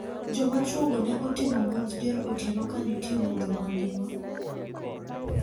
Jomachwo go ne otimo monj dier otieno ka nitie mudho mandiwa.